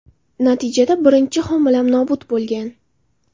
Natijada birinchi homilam nobud bo‘lgan.